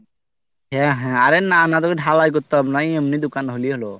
হ্যাঁ হ্যাঁ অরে না না তোকে ঢালাই করতে হবে না এমনি দোকান হলেই হলো